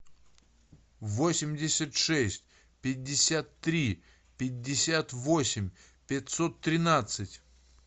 восемьдесят шесть пятьдесят три пятьдесят восемь пятьсот тринадцать